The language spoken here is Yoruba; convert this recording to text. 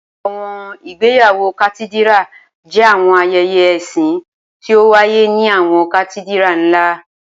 Awọn igbeyawo Katidira jẹ awọn ayẹyẹ ẹsin ti o waye ni awọn Katidira nla.